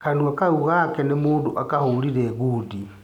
Kanua kau gake nĩ mũndũ akahũrire gudi.